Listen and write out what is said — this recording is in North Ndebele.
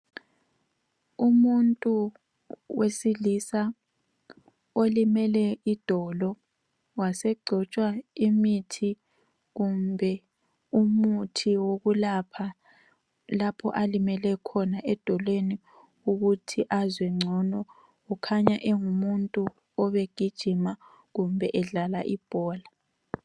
Umuntu wesilisa olimele idolo wasegcotshwa imithi kumbe umuthi wokulapha lapho alimele khona edolweni ukuthi azwe ngcono, kukhanya engumuntu obegijima kumbe edlala ibhola .